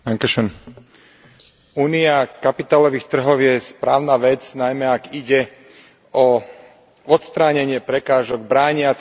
Únia kapitálových trhov je správna vec, najmä ak ide o odstránenie prekážok brániacich investíciám.